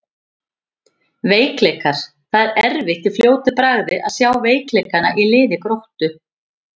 Veikleikar: Það er erfitt í fljótu bragði að sjá veikleikana í liði Gróttu.